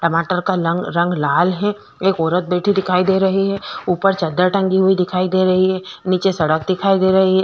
टमाटर का लंग रंग लाल है एक औरत बैठी दिखाई दे रही है ऊपर चादर टंगी हुई दिखाई दे रही है नीचे सड़क दिखाई दे रही है।